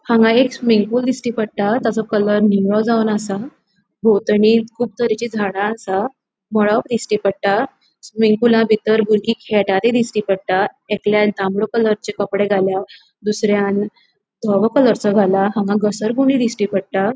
हांगा एक swimming pool दिश्टी पट्टा त्यासो कलर नीळो जावन असा बोवतानी कुब तरेची झाडा असा मळभ दिश्टी पट्टा स्विमिंग पूल बितर बुरगी खेळटा ते दिश्टी पट्टा एकल्यान तामड़े कलरसों कपड़े घाला दुसर्यान दवों कलरसों घाला हांगा घसरगुंडी दिश्टी पट्टा.